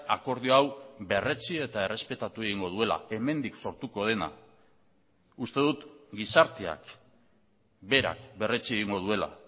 akordio hau berretsi eta errespetatu egingo duela hemendik sortuko dena uste dut gizarteak berak berretsi egingo duela